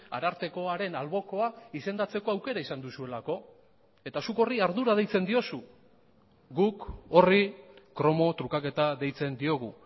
arartekoaren albokoa izendatzeko aukera izan duzuelako eta zuk horri ardura deitzen diozu guk horri kromo trukaketa deitzen diogu